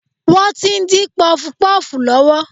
Wọ́n tí ń dín pọfupọ́ọ̀fù lọ́wọ́